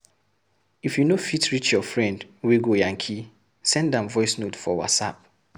If you know fit reach your friend wey go yankee, send am voice note for Whatsapp.